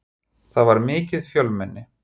Það var mikið fjölmenni.